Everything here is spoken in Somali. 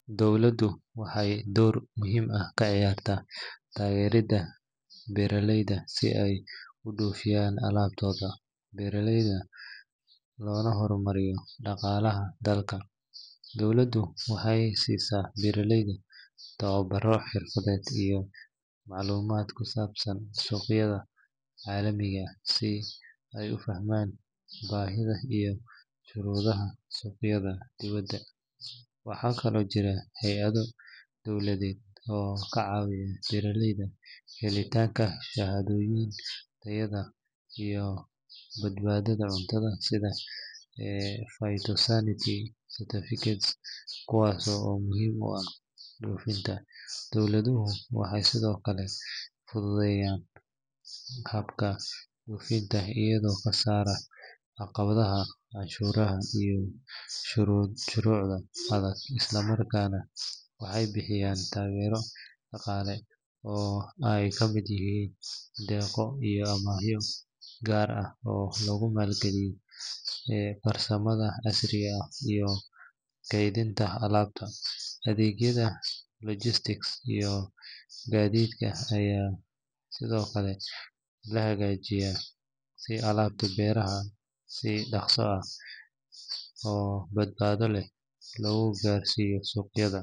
Dowladuhu waxay door muhiim ah ka ciyaaraan taageeridda beeraleyda si ay u dhoofiyaan alaabtooda beeraha loona horumariyo dhaqaalaha dalka. Dowladdu waxay siisaa beeraleyda tababaro xirfadeed iyo macluumaad ku saabsan suuqyada caalamiga ah si ay u fahmaan baahida iyo shuruudaha suuqyada dibadda. Waxaa kaloo jira hay’ado dowladeed oo ka caawiya beeraleyda helitaanka shahaadooyin tayada iyo badbaadada cuntada sida phytosanitary certificates kuwaas oo muhiim u ah dhoofinta. Dowladuhu waxay sidoo kale fududeeyaan habka dhoofinta iyagoo ka saara caqabadaha canshuuraha iyo shuruucda adag isla markaana waxay bixiyaan taageero dhaqaale oo ay ka mid yihiin deeqo iyo amaahyo gaar ah oo lagu maalgeliyo farsamada casriga ah iyo kaydinta alaabta. Adeegyada logistics iyo gaadiidka ayaa sidoo kale la hagaajiyaa si alaabta beeraha si dhakhso ah oo badbaado leh loogu gaarsiiyo suuqyada.